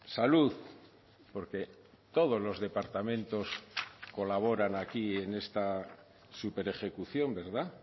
salud porque todos los departamentos colaboran aquí en esta superejecución verdad